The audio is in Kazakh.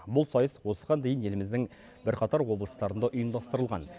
бұл сайыс осыған дейін еліміздің бірқатар облыстарында ұйымдастырылған